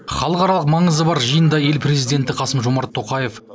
халықаралық маңызы бар жиында ел президенті қасым жомарт тоқаев